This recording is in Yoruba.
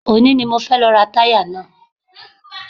Òní ni mo fẹ́ lọ ra táyà náà